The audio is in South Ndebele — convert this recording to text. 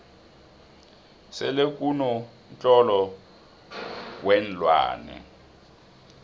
selekuno mtlolo weenlwane